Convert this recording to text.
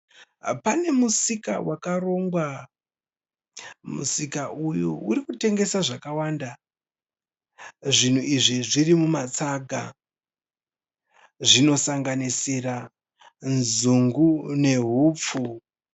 Pane musika wakarongwa. Musika uyu urikutengesa zvakawanda. Zvinhu izvi zvimumatsaga. Zvinosanganisira nzungu nehupfu.